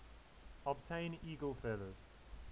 obtain eagle feathers